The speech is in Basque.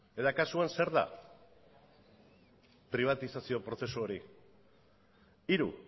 eta kasuan zer da pribatizazio prozesu hori hiru